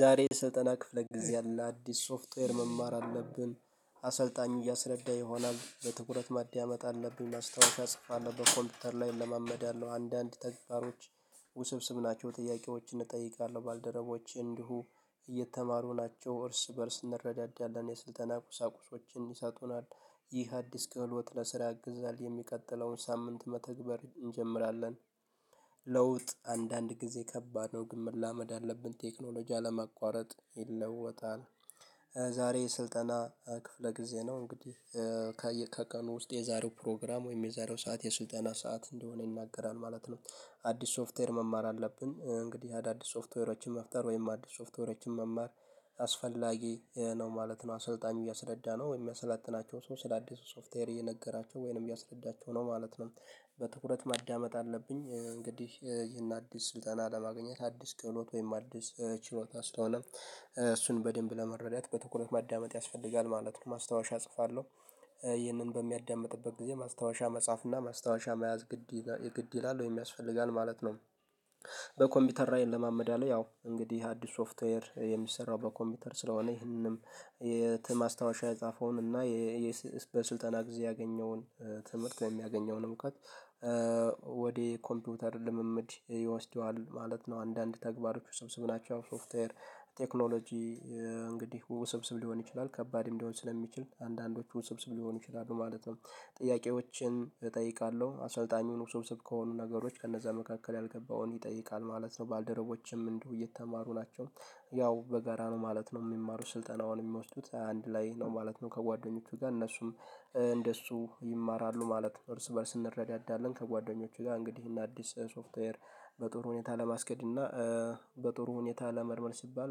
ዛሬ ስልጠና ክፍለ ጊዜ አለ። አዲስ ሶፍትዌር መማር አለብን አሰልጣኙ እያስረዳ ይሆናል። በትኩረት ማዳመጥ አለብኝ። ማስታወሻ እጽፋለሁ። በኮምፒውተር ላይ እለማመዳለሁ። አንዳንድ ተግባሮች ውስብስብ ናቸው። ጥያቄዎችን እጠይቃለሁ ባልደረቦቼ እንዲሁ እየተማሩ ናቸው። እርስ በእርስ እንረዳዳለን። የስልጠና ቁሳቁሶችን ይሰጡናል። ይህ አዲስ ክህሎት ለስራ ያግዛል። የሚቀጥለውን ሳምንት መተግበር እንጀምራለን ለውጥ አንዳንድ ጊዜ ከባድ ነው። ግን መላመድ አለብን። ቴክኖሎጂ አለማቋረጥ ይለወጣል። ዛሬ ስልጠና ክፍለ ጊዜ ነው እንግዲህ ከቀኑ ውስጥ የዛሬው ፕሮግራም ወይም የዛሬው ሰዓት የስልጠና ሰዓት እንደሆነ ይናገራል ማለት ነው። አዲስ ሶፍትዌር መማር አለብን። እንግዲህ አዳዲስ ሶፍትዌሮችን መፍጠር ወይም አዲስ ሶፍትዌሮችን መማር አስፈላጊ ነው ማለት ነው። አሰልጣኝ እያስረዳ ነው ወይም የሚያሰለጥናቸው ሰው ስለ አዲሱ ሶፍትዌር እየነገራቸው ወይንም እያስረዳቸው ነው ማለት ነው። በትኩረት ማዳመጥ አለብኝ። እንግዲህ ይህን አዲስ ስልጠና ለማግኘት አዲስ ክህሎት ወይም አዲስ ችሎታ ስለሆነ እሱን በደንብ ለመረዳት በትኩረት ማዳመጥ ያስፈልጋል ማለት ነው። ማስታወሻ እጽፋለሁ። ይህንን በሚያዳምጥበት ጊዜ ማስታወሻ መጻፍ እና ማስታወሻ መያዝ ግድ ይላል። ወይም ያስፈልጋል ማለት ነው። በኮምፒውተር ላይ እለማመዳለሁ። ያው እንግዲህ አዲስ ሶፍትዌር የሚሰራው በኮምፒውተር ስለሆነ ይህንንም ማስታወሻ የጻፈውን እና በስልጠና ጊዜ ያገኘውን ትምህርት የሚያገኘውን እውቀት ኮምፒውተር ልምምድ ይወስደዋል ማለት ነው። አንዳንድ ተግባሮች ውስብስብ ናቸው። ሶፍትዌር ቴክኖሎጂ እንግዲህ ውስብስብ ሊሆን ይችላል። ከባድም ሊሆን ስለሚችል አንዳንዶች ውስብስብ ሊሆኑ ይችላል ማለት ነው። ጥያቄዎችን እጠይቃለሁ። አሰልጣኙን ውስብስብ ከሆኑ ነገሮች ከነዛ መካከል ያልገባውን ይጠይቃል ማለት ነው። ባልደረቦቸም እንዲሁ እየተማሩ ናቸው። ያው በጋራ ነው ማለት ነው የሚማሩ ስልጠናውን የሚወስዱት አንድ ላይ ነው ማለት ነው። ከጓደኞቹ ጋር እነሱም እንደሱ ይማራሉ። ማለት እርስ በእርስ እንረዳዳለን ከጓደኞቼ ጋር እንግዲህ ይህንን አዲስ ሶፍትዌር በጥሩ ሁኔታ ለማስኬድ እና በጥሩ ሁኔታ ለመልመድ ሲባል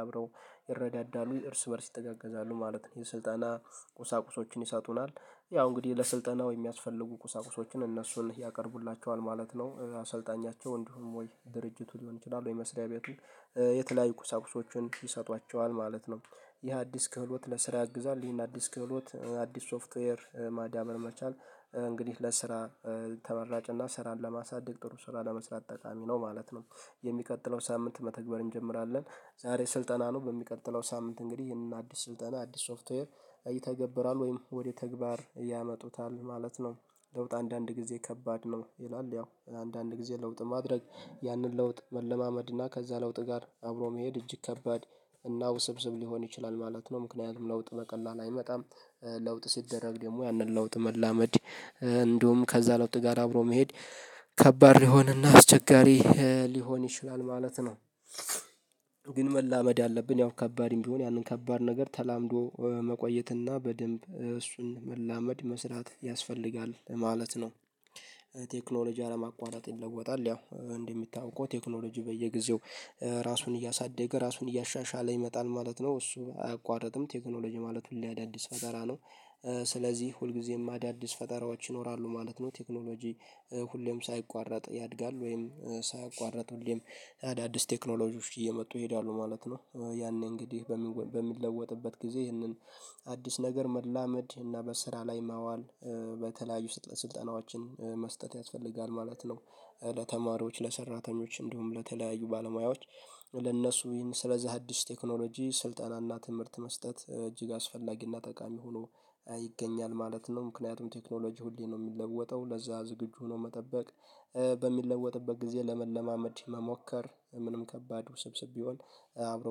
አብረው ይረዳዳሉ። እርስ በእርስ ይተጋገዛሉ ማለት ነው። የስልጠና ቁሳቁሶችን ይሰጡናል። ያው እንግዲህ ለስልጠናው የሚያስፈልጉ ቁሳቁሶችን እነሱን ያቀርቡላቸዋል ማለት ነው። አሰልጣኛቸው እንዲሁም ወይ ድርጅቱ ሊሆን ይችላል ወይ መስሪያ ቤቱ የተለያዩ ቁሳቁሶችን ይሰጧቸዋል ማለት ነው። ይህ አዲስ ክህሎት ለስራ ያግዛል። ይህን አዲስ ክህሎት አዲስ ሶፍትዌር ማዳበር መቻል እንግዲህ ለስራ ተመራጭ እና ስራን ለማሳደግ ጥሩ ስራ ለመስራት ጠቃሚ ነው ማለት ነው። የሚቀጥለው ሳምንት መተግበር እንጀምራለን። ዛሬ ስልጠና ነው። በሚቀጥለው ሳምንት እንግዲህ ይሄንን አዲስ ስልጠና አዲስ ሶፍትዌር ይተገበራል ወይም ወደ ተግባር ያመጡታል ማለት ነው። ለውጥ አንዳንድ ጊዜ ከባድ ነው ይላል ያው አንዳንድ ጊዜ ለውጥ ማድረግ ያንን ለውጥ መለማመድ እና ከዛ ለውጥ ጋር አብሮ መሄድ እጅግ ከባድ እና ውስብስብ ሊሆን ይችላል ማለት ነው። ምክንያቱም ለውጥ በቀላል አይመጣም። ለውጥ ሲደረግ ደግሞ ያንን ለውጥ መላመድ እንዲሁም ከዛ ለውጥ ጋር አብሮ መሄድ ከባድ ሊሆንና አስቸጋሪ ሊሆን ይችላል ማለት ነው። ግን መላመድ አለብን። ያው ከባድም ቢሆን ያንን ከባድ ነገር ተላምዶ መቆየትና በደንብ እሱን መላመድ፣ መስራት ያስፈልጋል ማለት ነው። ቴክኖሎጂ አለማቋረጥ ይለወጣል። ያው እንደሚታወቀው ቴክኖሎጂ በየጊዜው ራሱን እያሳደገ፤ ራሱን እያሻሻለ ይመጣል ማለት ነው። እሱ አያቋርጥም። ቴክኖሎጂ ማለት ሁሌ አዳዲስ ፈጠራ ነው። ስለዚህ ሁልጊዜም አዳዲስ ፈጠራዎች ይኖራሉ ማለት ነው። ቴክኖሎጂ ሁሌም ሳይቋረጥ ያድጋል ወይም ሳያቋርጥ ሁሌም ያዳድስ ቴክኖሎጂዎች እየመጡ ይሄዳሉ ማለት ነው። ያኔ እንግዲህ በሚለወጥበት ጊዜ ይህንን አዲስ ነገር መላመድ እና በስራ ላይ ማዋል በተለያዩ ስልጠናዎችን መስጠት ያስፈልጋል ማለት ነው። ለተማሪዎች፣ ለሰራተኞች እንዲሁም ለተለያዩ ባለሙያዎች ለእነሱም ስለዚህ አዲስ ቴክኖሎጂ ስልጠናና ትምህርት መስጠት እጅግ አስፈላጊና ጠቃሚ ሆኖ ይገኛል ማለት ነው። ምክንያቱም ቴክኖሎጂ ሁሌ ነው የሚለወጠው ለዛ ዝግጁ ሆኖ መጠበቅ በሚለወጥበት ጊዜ ለመለማመድ መሞከር ምንም ከባድ ውስብስብ ቢሆን አብሮ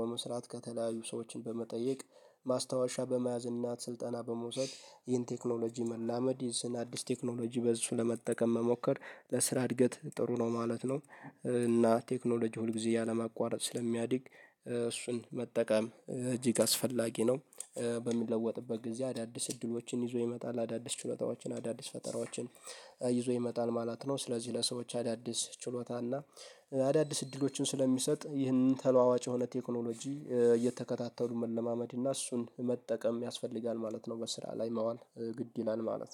በመስራት ከተለያዩ ሰዎችን በመጠየቅ ማስታወሻ በመያዝ እናት ስልጠና በመውሰድ ይህን ቴክኖሎጂ መላመድ ይህን አዲስ ቴክኖሎጂ በሱ ለመጠቀም መሞከር ለስራ እድገት ጥሩ ነው ማለት ነው። እና ቴክኖሎጂ ሁል ጊዜ ያለማቋረጥ ስለሚያድግ እሱን መጠቀም እጅግ አስፈላጊ ነው። በሚለወጥበት ጊዜ አዳዲስ እድሎችን ይዞ ይመጣል። አዳዲስ ችሎታዎችን አዳዲስ ፈጠራዎችን ይዞ ይመጣል ማለት ነው። ስለዚህ ለሰዎች አዳዲስ ችሎታና አዳዲስ እድሎችን ስለሚሰጥ ይህንን ተለዋዋጭ የሆነ ቴክኖሎጂ እየተከታተሉ መለማመድ እና እሱን መጠቀም ያስፈልጋል ማለት ነው። በስራ ላይ ማዋል ግድ ይላል ማለት ነው።